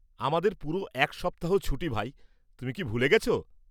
আমাদের পুরো এক সপ্তাহ ছুটি ভাই; তুমি কি ভুলে গেছ?